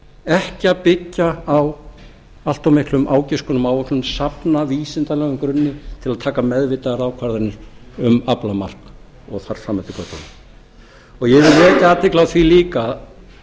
ekki að byggja á allt of miklum ágiskunum og áætlunum safna vísindalegum grunni til að taka meðvitaðar ákvarðanir um aflamark og ár fram eftir götunum ég vil vekja athygli á því líka